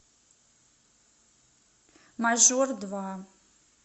мажор два